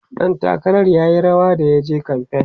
ɗan takarar r yayi rawa da yaje kamfain